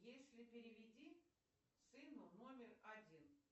если переведи сыну номер один